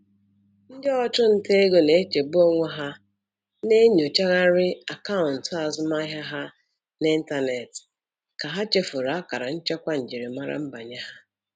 Ndị ọchụnta ego na-echegbu onwe ha na-enyochagharị akaụntụ azụmaahịa ha n'ịntanetị ka ha chefuru akara nchekwa njirimara nbanye ha.